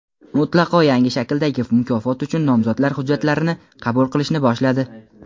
mutlaqo yangi shakldagi mukofot uchun nomzodlar hujjatlarini qabul qilishni boshladi!.